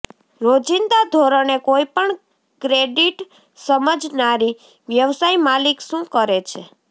રોજિંદા ધોરણે કોઈપણ ક્રેડિટ સમજનારી વ્યવસાય માલિક શું કરે છે